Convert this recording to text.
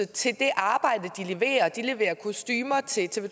til det arbejde de leverer de leverer kostumer til tv